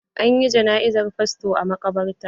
An yi jana'izar fasto a maƙabarta.